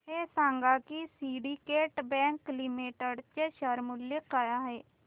हे सांगा की सिंडीकेट बँक लिमिटेड चे शेअर मूल्य काय आहे